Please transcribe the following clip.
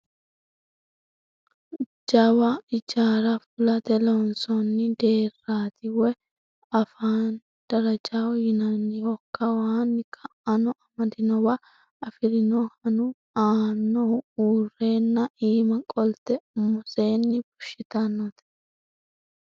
Jawa ijaara fulate loonsoonni deerrati. Woyi a afiinni darajaho yinanniho. Kawano ka"ano amandanniwa afirinohoanu aanaho uurreenna iima qolte umisenni fushshitannote